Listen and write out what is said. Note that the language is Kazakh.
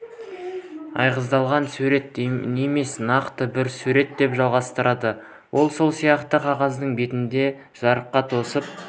айғыздалған сурет емес нақты бір сурет деп жалғастырды ол сол сияқты қағаздың бетінде жарыққа тосып